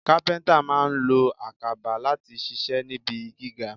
Kápẹ́ńtà máa lo àkàbà láti ṣiṣẹ́ níbi gíga.